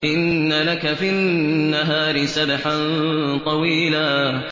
إِنَّ لَكَ فِي النَّهَارِ سَبْحًا طَوِيلًا